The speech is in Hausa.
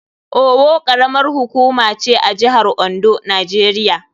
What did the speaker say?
Owo karamar hukuma ce a jihar Ondo, Najeriya.